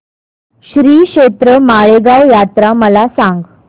श्रीक्षेत्र माळेगाव यात्रा मला सांग